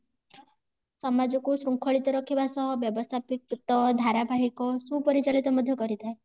ସମାଜ କୁ ସୁଙ୍ଖଳିତ ରଖିବା ସହ ବ୍ୟବସ୍ତାପିକ ଧାରାବାହିକ ଓ ସୁପରିଚଳିତ ମଧ୍ୟ କରିଥାଏ